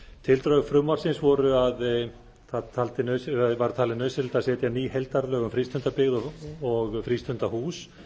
tildrög frumvarpsins voru að það var talið nauðsynlegt að setja ný heildarlög um frístundabyggð og frístundahús